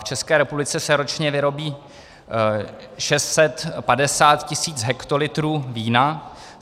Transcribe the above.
V České republice se ročně vyrobí 650 tisíc hektolitrů vína.